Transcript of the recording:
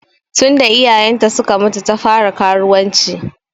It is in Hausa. Tun da iyayen ta suka mutu ta fara karuwanci.